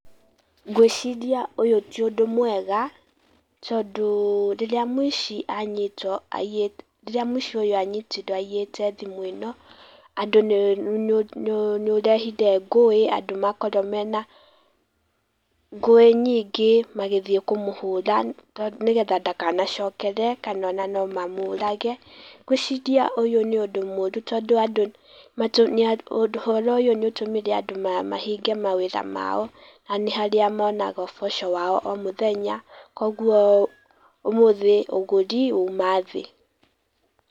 Ngũĩciria ũyũ ti ũndũ mwega, tondũ rĩrĩa mũici anyitwo aiyĩte, rĩrĩa mũici uyũ anyitirwo aiyĩte thimũ ĩno, andũ nĩ ũrehire ngũĩ, andũ makorwo mena ngũĩ nyingĩ magĩthiĩ kũmũhũra nĩgetha ndakanacokere kana ona no mamũrage. Ngũĩciria ũyũ nĩ ũndũ mũru tondũ andũ ma ũhoro ũyũ nĩũtũmire andũ mahinge mawĩra mao na nĩharĩa monaga ũboco wao omũthenya. Koguo umũthĩ ũgũri uma thĩ.